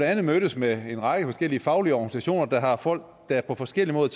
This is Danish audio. andet mødtes med en række forskellige faglige organisationer der har folk der på forskellig måde